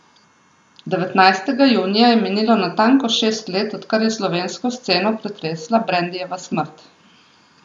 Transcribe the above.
Devetnajstega junija je minilo natanko šest let, odkar je slovensko sceno pretresla Brendijeva smrt.